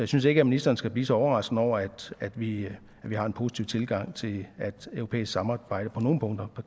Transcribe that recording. synes ikke at ministeren skal blive så overrasket over at vi vi har en positiv tilgang til at et europæisk samarbejde på nogle punkter